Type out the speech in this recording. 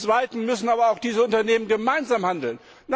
Zum zweiten müssen aber auch diese Unternehmen gemeinsam handeln.